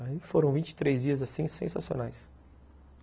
Aí foram vinte e três dias, assim, sensacionais.